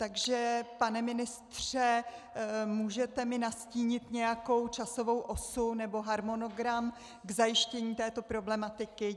Takže pane ministře, můžete mi nastínit nějakou časovou osu nebo harmonogram k zajištění této problematiky?